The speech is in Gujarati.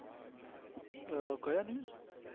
અમ કયા news